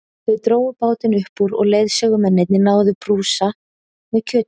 Þau drógu bátinn upp úr og leiðsögumennirnir náðu í brúsa með kjötsúpu.